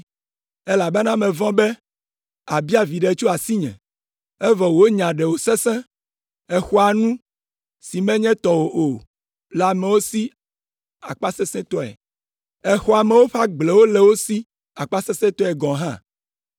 elabena mevɔ̃ be àbia viɖe tso asinye, evɔ wò nya ɖe wòsesẽ, èxɔa nu si menye tɔwò o le amewo si akpasesẽtɔe. Èxɔa amewo ƒe agblewo le wo si akpasesẽtɔe gɔ̃ hã.’